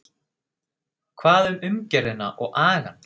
Hvað um umgjörðina og agann?